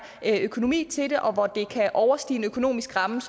økonomi til det og hvor det overstiger en økonomisk ramme